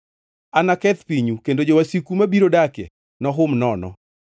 Anaketh pinyu kendo jowasiku mabiro dakie nohum nono.